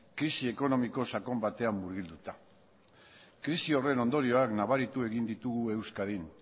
krisi ekonomiko sakon batean murgilduta krisi horren ondorioak nabaritu egin ditugu euskadin